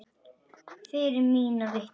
Firra mig vitinu.